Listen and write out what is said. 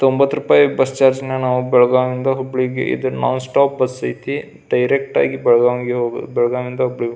ತೊಂಭತ್ತು ರೂಪಾಯಿ bus charge ನಾನು ಬೆಳಗಾವಿ ನಿಂದ ಹುಬ್ಬಳ್ಳಿಗೆ ಇದು ನೋನ್ ಸ್ಟಾಪ್ ಬಸ್ ಐತಿ ಡೈರೆಕ್ಟ್ ಆಗಿ ಬೆಳಗಾಂ ಗೆ ಹೋಗೋ ಬೆಳಗಾಂ ನಿಂದ ಹುಬ್ಳಿಗೆ ಹೋಗಿ --